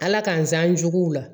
Ala k'an zan juguw la